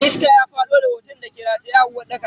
Iska ya fado da hoton dake rataye a uwarɗakar.